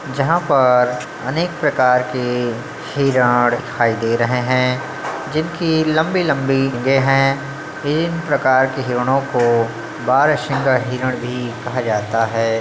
--जहांँ पर अनेक प्रकार के हिरण दिखाई दे रहे है जिनकी लंबे-लंबे सिंगे है तीन प्रकार के हिरणों को बारह सिंगा हिरण भी कहा जाता हैं ।